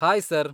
Hi sir.